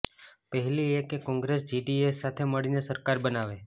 પહેલી એ કે કોંગ્રેસ જેડીએસ સાથે મળીને સરકાર બનાવે